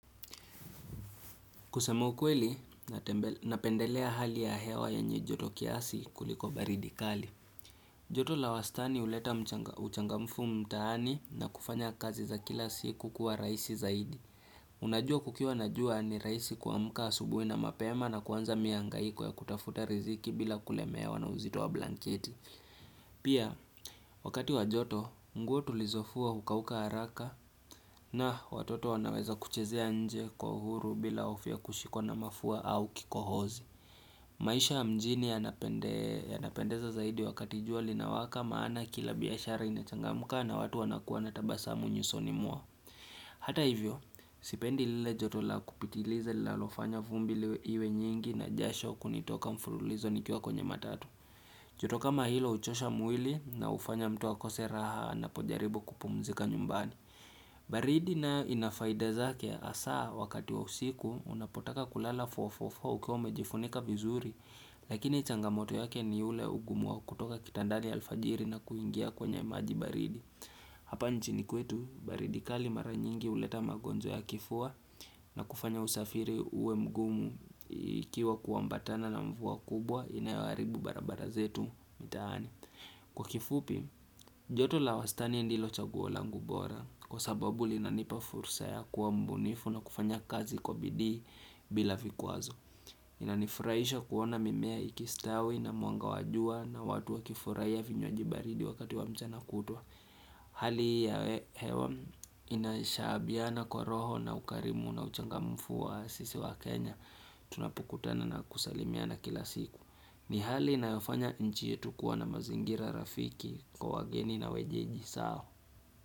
Kusemaukweli, napendelea hali ya hewa yenye joto kiasi kuliko baridikali. Joto la wastani huleta uchangamfu mtaani na kufanya kazi za kila siku kuwa raisi zaidi. Unajua kukiwa na jua ni rahisi kuamka asubuhi na mapema na kuanza mihangaiko ya kutafuta riziki bila kulemewa na uzito wa blanketi. Pia, wakati wajoto, nguo tulizofua hukauka haraka na watoto wanaweza kuchezea nje kwa uhuru bila hofu ya kushikwa na mafua au kikohozi. Maisha ya mjini ya napendeza zaidi wakati juali na waka maana kila biyashari inachangamuka na watu wanakuwa natabasa munyusonimwao. Hata hivyo, sipendi lile joto la kupitiliza lila alofanya vumbi liwe nyingi na jasho kunitoka mfululizo nikua kwenye matatu joto kama hilo huchosha mwili na ufanya mtu akose raha anapojaribu kupumzika nyumbani. Baridi nayo inafaida zake asaa wakati wa usiku unapotaka kulala mia nne na arobaini na nne ukiwa umejifunika vizuri. Lakini changamoto yake ni ule ugumu wa kutoka kitandani alfajiri na kuingia kwenye maji baridi. Hapa nchini kwetu baridi kali mara nyingi uleta magonjwa ya kifua. Na kufanya usafiri uwe mgumu ikiwa kuambatana na mvua kubwa inawaribu barabara zetu mitahani. Kwa kifupi, joto la wastani ndilo chaguo langubora. Kwa sababu li nanipa fursa ya kuwa mbunifu na kufanya kazi kwa bidii bila vikwazo. Inanifuraisho kuona mimea ikistawi na muanga wajua na watu wa kifuraiya vinywaji baridi wakati wa mchana kutwa. Hali ya hewa inashabiana kwa roho na ukarimu na uchangamufu wa sisi wa Kenya. Tunapokutana na kusalimiana kila siku. Ni hali na yofanya nchi yetu kuwa na mazingira rafiki kwa wageni na wenyeji Sao.